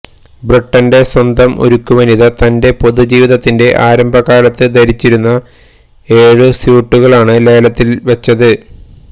ബ്രിട്ടന്റെ സ്വന്തം ഉരുക്കുവനിത തന്റെ പൊതുജീവിതത്തിന്റെ ആരംഭകാലത്ത് ധരിച്ചിരുന്ന ഏഴു സ്യൂട്ടുകളാണ് ലേലത്തില്വച്ചത്